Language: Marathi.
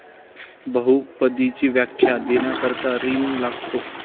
बहुपदीची व्याख्या देण्याकरता 'रिंग' लागते.